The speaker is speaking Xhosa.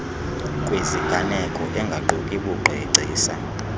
kwiziganeko engaquki bugcisa